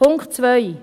Punkt 2